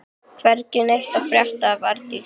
Hvergi neitt að frétta af Arndísi.